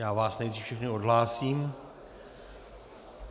Já vás nejdřív všechny odhlásím.